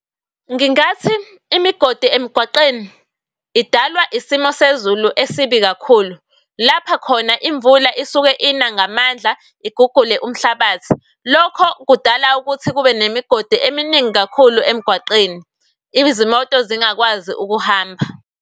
Ngingathi imigodi emgwaqeni idalwa isimo sezulu esibi kakhulu, lapha khona imvula isuke ina ngamandla igugule umhlabathi. Lokho kudala ukuthi kube nemigodi eminingi kakhulu emgwaqweni. Izimoto zingakwazi ukuhamba.